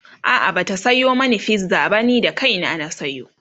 a'a Bata Sayo mani pizza ba ni da kaina na sayo